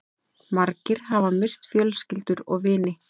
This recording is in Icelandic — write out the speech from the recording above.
Margir hafa misst fjölskyldur og vini